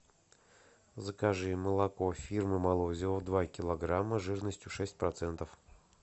закажи молоко фирмы молозиво два килограмма жирностью шесть процентов